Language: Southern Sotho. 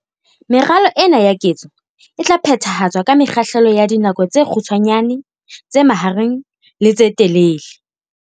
Meralo ena ya ketso e tla phethahatswa ka mekgahlelo ya dinako tse kgutshwanyane, tse mahareng le tse telele.